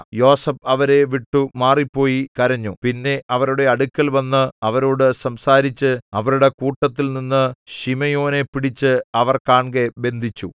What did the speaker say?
യോസേഫ് അവരെ വിട്ടു മാറിപ്പോയി കരഞ്ഞു പിന്നെ അവരുടെ അടുക്കൽവന്ന് അവരോടു സംസാരിച്ച് അവരുടെ കൂട്ടത്തിൽ നിന്നു ശിമെയോനെ പിടിച്ച് അവർ കാൺകെ ബന്ധിച്ചു